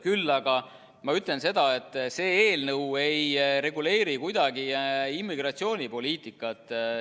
Küll aga ma ütlen seda, et see eelnõu ei reguleeri kuidagi immigratsioonipoliitikat.